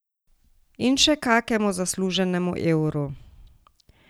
In še kakemu zasluženemu evru.